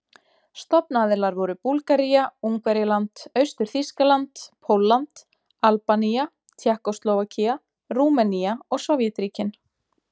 Stofnaðilar voru Búlgaría, Ungverjaland, Austur-Þýskaland, Pólland, Albanía, Tékkóslóvakía, Rúmenía og Sovétríkin.